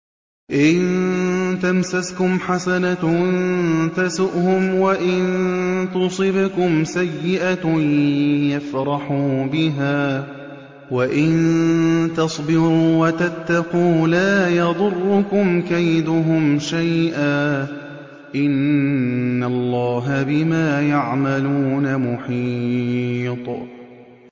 إِن تَمْسَسْكُمْ حَسَنَةٌ تَسُؤْهُمْ وَإِن تُصِبْكُمْ سَيِّئَةٌ يَفْرَحُوا بِهَا ۖ وَإِن تَصْبِرُوا وَتَتَّقُوا لَا يَضُرُّكُمْ كَيْدُهُمْ شَيْئًا ۗ إِنَّ اللَّهَ بِمَا يَعْمَلُونَ مُحِيطٌ